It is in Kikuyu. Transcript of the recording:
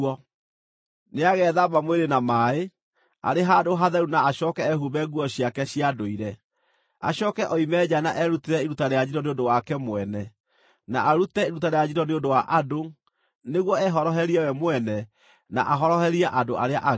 Nĩagethamba mwĩrĩ na maaĩ, arĩ handũ hatheru na acooke ehumbe nguo ciake cia ndũire. Acooke oime nja na erutĩre iruta rĩa njino nĩ ũndũ wake mwene, na arute iruta rĩa njino nĩ ũndũ wa andũ, nĩguo ehoroherie we mwene na ahoroherie andũ arĩa angĩ.